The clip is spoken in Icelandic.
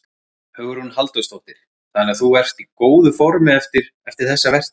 Hugrún Halldórsdóttir: Þannig að þú ert í góðu formi eftir, eftir þessa vertíð?